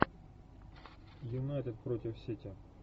юнайтед против сити